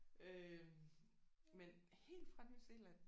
Øh men helt fra New Zealand